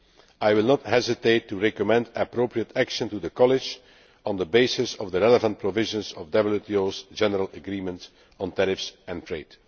I will not hesitate to recommend appropriate action to the College on the basis of the relevant provisions of the WTO's General Agreement on Tariffs and Trade.